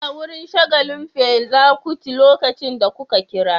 Ina wurin shagalin Fela Kuti lokacin da kuka kira